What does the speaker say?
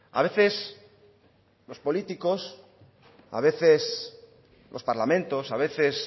a veces los políticos a veces los parlamentos a veces